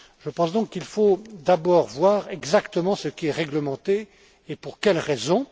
Je pense donc qu'il faut d'abord voir exactement ce qui est réglementé et pour quelle raison.